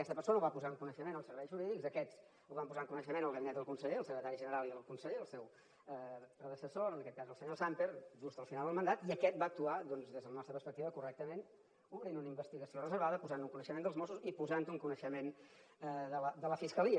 aquesta persona ho va posar en coneixement dels serveis jurídics i aquests ho van posar en coneixement del gabinet del con seller el secretari general i el conseller el seu predecessor en aquest cas el senyor samper just al final del mandat i aquest va actuar doncs des de la nostra perspectiva correctament obrint una investigació reservada posant ho en coneixement dels mossos i posant ho en coneixement de la fiscalia